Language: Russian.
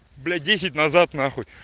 блять десять назад нахуй